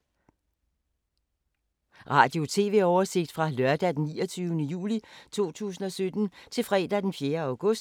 Radio/TV oversigt fra lørdag d. 29. juli 2017 til fredag d. 4. august 2017